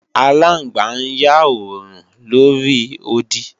Aláǹgbá ń yá òòrùn lóri odi